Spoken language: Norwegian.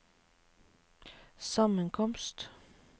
sammenkomst